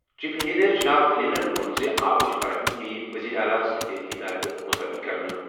Chief engineer جناب انلَن ووٚن زِ آبٕچ فراہمی یِیہِ وزیر اعلیٰ سٕنٛدِ ہِدایتہٕ مُطٲبِق کرنہٕ۔